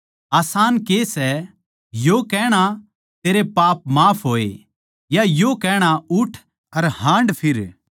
आसान के सै यो कहणा तेरे पाप माफ होए या यो कहणा उठ अर हाँडफिर